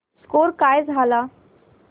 score काय झाला